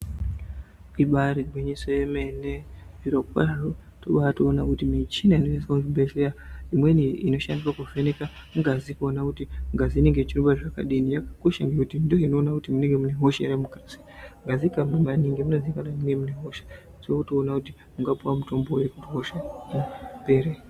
Ibari gwinyiso yemene zvirokwazvo tobatoona kuti michina inoshandiswa muzvibhedhleya imweni inoshandiswa kuvheneka ngazi kuona kuti ngazi inenge ichirumba zvakadini. Yakakosha nekuti ndiyo inona kuti munenge muine hosha ere kukati ngazi ikarumba maningi munozikanwa kuti munenge muine hosha votoona kuti ungapuva mutombo ere vehosha kuti ipere.